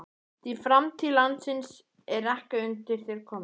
Því framtíð landsins er ekki undir þér komin.